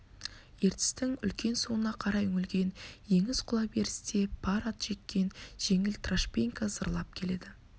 ертістің үлкен суына қарай үңілген еңіс құлаберісте пар ат жеккен жеңіл трашпеңке зырлап келеді